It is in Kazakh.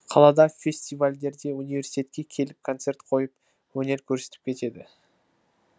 қалада фестивальдерде университетке келіп концерт қойып өнер көрсетіп кетеді